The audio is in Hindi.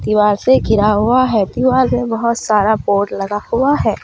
दीवार से घिरा हुआ है दीवार में बहुत सारा बोर्ड लगा हुआ है।